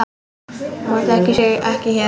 Hún þekkir sig ekki hér.